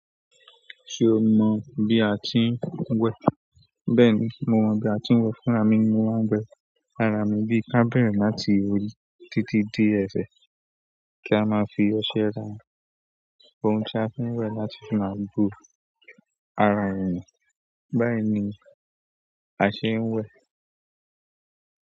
Ṣo mọ bí a ti ń wẹ? Bẹ́ẹ̀ni, mo mọ bí a ti ń wẹ. Fúnra mi ni mo máa ń wẹ ara mi bí i kábere láti owọ̀ titi dé ẹ̀sẹ̀ kí a máa fi ọṣẹ ra. Ohun tí a fi ń wẹ láti máa bu ara ènìyàn. Báyìí ni a ṣe ń wẹ.